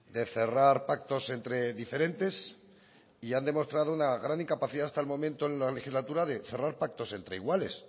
de cerrar pactos entre diferentes y han demostrado una gran incapacidad hasta el momento en la legislatura de cerrar pactos entre iguales